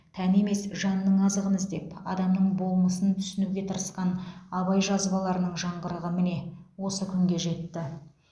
тән емес жанның азығын іздеп адам болмысын түсінуге тырысқан абай жазбаларының жаңғырығы міне осы күнге жетті